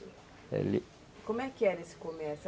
Como é que era esse comércio?